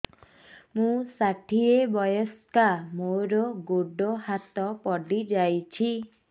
ମୁଁ ଷାଠିଏ ବୟସ୍କା ମୋର ଗୋଡ ହାତ ପଡିଯାଇଛି